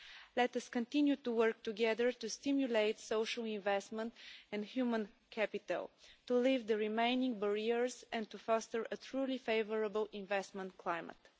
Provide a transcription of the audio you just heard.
Let us continue to work together to stimulate social investment and human capital, to lift the remaining barriers, and to foster a truly favourable investment climate.